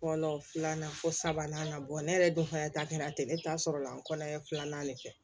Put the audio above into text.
Fɔlɔ filanan fo sabanan ka bɔ ne yɛrɛ dun fana ta kɛra ten ne ta sɔrɔla n kɔnɔ ye filanan de kɛ